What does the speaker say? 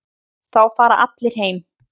Þá fara allir heim.